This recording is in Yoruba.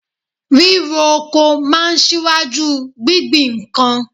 Ríro oko máa ń ṣíwájú gbingbin nǹkan